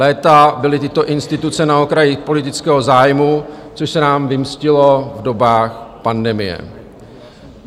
Léta byly tyto instituce na okraji politického zájmu, což se nám vymstilo v dobách pandemie.